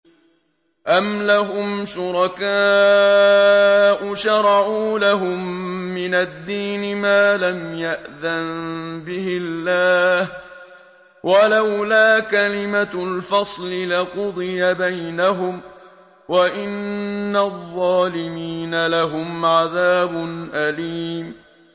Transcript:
أَمْ لَهُمْ شُرَكَاءُ شَرَعُوا لَهُم مِّنَ الدِّينِ مَا لَمْ يَأْذَن بِهِ اللَّهُ ۚ وَلَوْلَا كَلِمَةُ الْفَصْلِ لَقُضِيَ بَيْنَهُمْ ۗ وَإِنَّ الظَّالِمِينَ لَهُمْ عَذَابٌ أَلِيمٌ